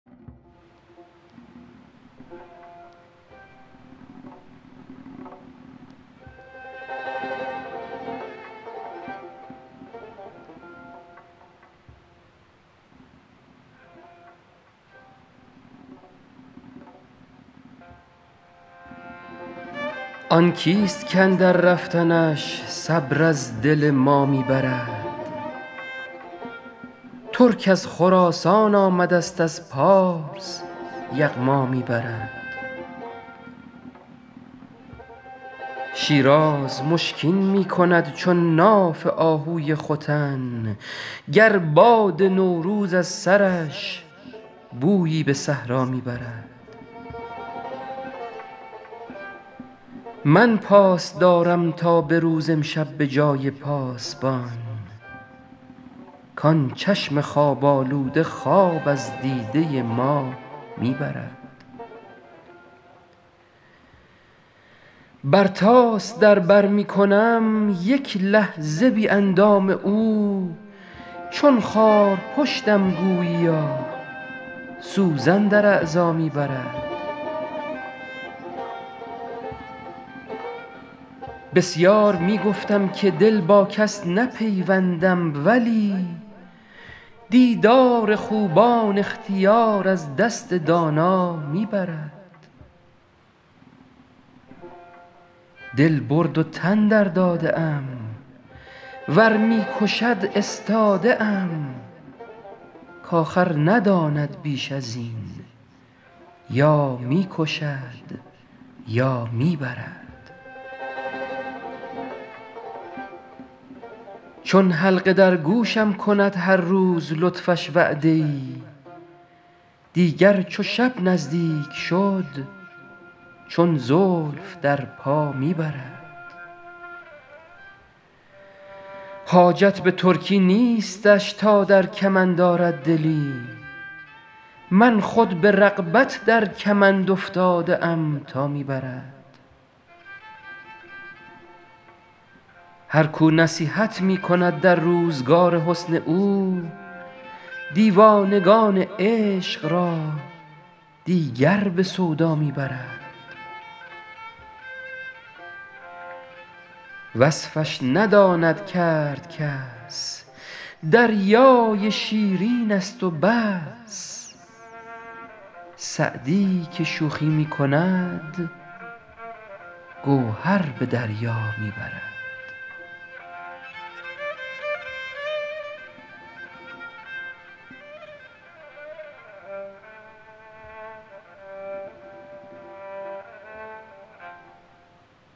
آن کیست کاندر رفتنش صبر از دل ما می برد ترک از خراسان آمدست از پارس یغما می برد شیراز مشکین می کند چون ناف آهوی ختن گر باد نوروز از سرش بویی به صحرا می برد من پاس دارم تا به روز امشب به جای پاسبان کان چشم خواب آلوده خواب از دیده ما می برد برتاس در بر می کنم یک لحظه بی اندام او چون خارپشتم گوییا سوزن در اعضا می برد بسیار می گفتم که دل با کس نپیوندم ولی دیدار خوبان اختیار از دست دانا می برد دل برد و تن درداده ام ور می کشد استاده ام کآخر نداند بیش از این یا می کشد یا می برد چون حلقه در گوشم کند هر روز لطفش وعده ای دیگر چو شب نزدیک شد چون زلف در پا می برد حاجت به ترکی نیستش تا در کمند آرد دلی من خود به رغبت در کمند افتاده ام تا می برد هر کو نصیحت می کند در روزگار حسن او دیوانگان عشق را دیگر به سودا می برد وصفش نداند کرد کس دریای شیرینست و بس سعدی که شوخی می کند گوهر به دریا می برد